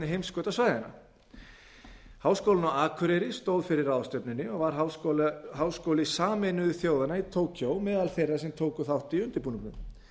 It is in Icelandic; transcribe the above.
heimskautasvæðanna háskólinn á akureyri stóð fyrir ráðstefnunni og var háskóli sameinuðu þjóðanna í tókýó meðal þeirra sem tóku þátt í undirbúningnum